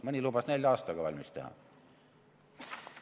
Mõni lubas nelja aastaga valmis teha.